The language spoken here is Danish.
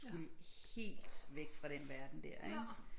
Skulle helt væk fra den verden der ikke